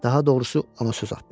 Daha doğrusu ona söz atdılar.